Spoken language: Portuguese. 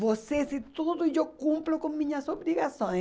Vocês e tudo, eu cumpro com minhas obrigações.